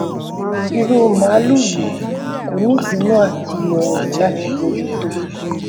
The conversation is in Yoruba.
irú màlúù yìí ko ni ibinu áti rọrùn láti bójú tó